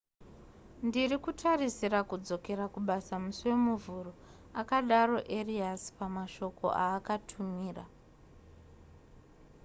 ndiri kutarisira kudzokera kubasa musi wemuvhuro akadaro arias pamashoko aakatumira